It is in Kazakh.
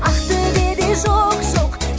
ақтөбеде жоқ жоқ